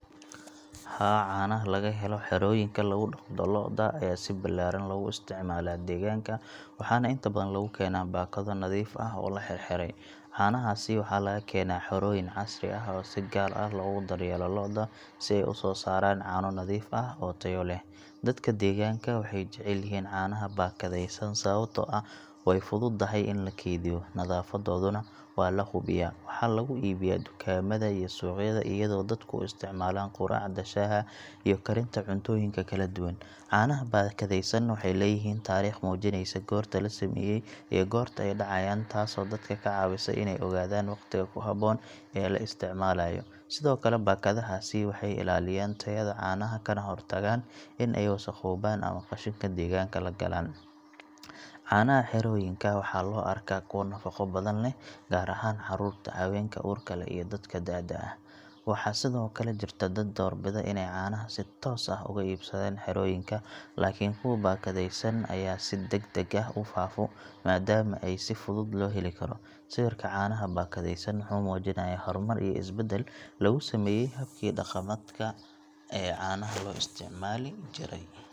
Haa, caanaha laga helo xerooyinka lagu dhaqdo lo’da ayaa si ballaaran loogu isticmaalaa deegaanka, waxaana inta badan lagu keenaa baakado nadiif ah oo la xirxiray. Caanahaasi waxaa laga keenaa xerooyin casri ah oo si gaar ah loogu daryeelo lo’da si ay u soo saaraan caano nadiif ah oo tayo leh. Dadka deegaanka waxay jecel yihiin caanaha baakadaysan sababtoo ah way fududahay in la kaydiyo, nadaafadduna waa la hubiyaa. Waxaa lagu iibiyaa dukaamada iyo suuqyada iyadoo dadku u isticmaalaan quraacda, shaaha iyo karinta cuntooyin kala duwan. Caanaha baakadaysan waxay leeyihiin taariikh muujinaysa goorta la sameeyay iyo goorta ay dhacayaan taasoo dadka ka caawisa inay ogaadaan waqtiga ku habboon ee la isticmaalayo. Sidoo kale baakadahaasi waxay ilaaliyaan tayada caanaha kana hortagaan in ay wasakhoobaan ama qashinka deegaanka la galaan. Caanaha xerooyinka waxaa loo arkaa kuwo nafaqo badan leh, gaar ahaan carruurta, haweenka uurka leh, iyo dadka da’da ah. Waxaa sidoo kale jirta dad doorbida inay caanaha si toos ah uga iibsadaan xerooyinka, laakiin kuwa baakadaysan ayaa si degdeg ah u faafo maadaama ay si fudud loo heli karo. Sawirka caanaha baakadaysan wuxuu muujinayaa horumar iyo isbeddel lagu sameeyay habkii dhaqameedka ee caanaha loo isticmaali jiray.